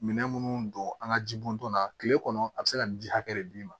Minɛn minnu don an ka jibonton na tile kɔnɔ a bɛ se ka nin ji hakɛ de d'i ma